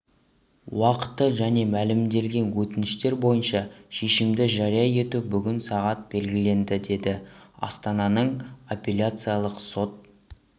уақыты және мәлімделген өтініштер бойынша шешімді жария ету бүгін сағат белгіленді деді астананың апелляциялық сот